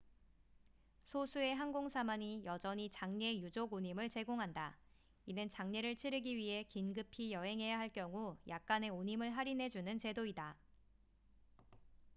소수의 항공사만이 여전히 장례 유족 운임을 제공한다 이는 장례를 치르기 위해 긴급히 여행해야 할 경우 약간의 운임을 할인해 주는 제도이다